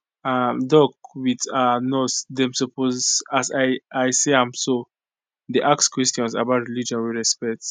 ah doc with ah nurse dem suppose as i i see am so dey ask questions about religion with respect